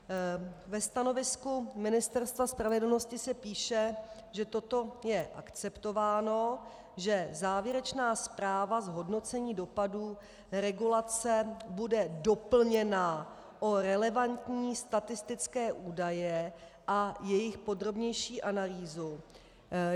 Ve stanovisku Ministerstva spravedlnosti se píše, že toto je akceptováno, že závěrečná zpráva z hodnocení dopadů regulace bude doplněna o relevantní statistické údaje a jejich podrobnější analýzu.